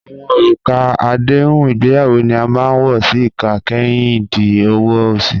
Awọn orúkà àdéhùn ìgbéyàwó ni a máa n wọ sí ìkà kẹ́rìndí ọ̀wọ̀ osì.